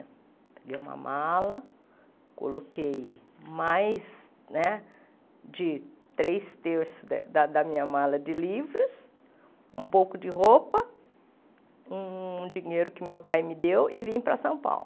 Peguei uma mala, coloquei mais né de três terços da minha mala de livros, um pouco de roupa, um dinheiro que meu pai me deu e vim para São Paulo.